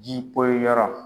Ji poyi yɔrɔ